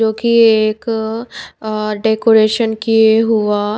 जो कि ये एक अ डेकोरेशन किए हुआ --